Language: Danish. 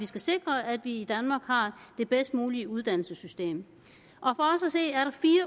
skal sikre at vi i danmark har det bedst mulige uddannelsessystem